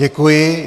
Děkuji.